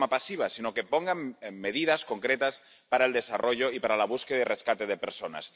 no de forma pasiva, sino poniendo medidas concretas para el desarrollo y para la búsqueda y el rescate de personas.